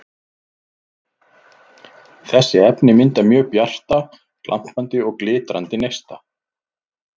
Þessi efni mynda mjög bjarta, glampandi og glitrandi neista.